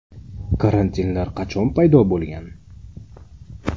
Karantinlar qachon paydo bo‘lgan?.